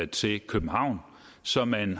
til københavn så man